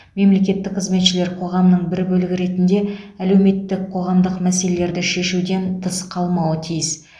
мемлекеттік қызметшілер қоғамның бір бөлігі ретінде әлеуметтік қоғамдық мәселелерді шешуден тыс қалмауы тиіс